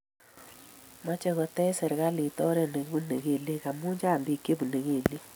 meche kotech serikalit oret negibunee ngelyek amu Chang biik chebune kelyek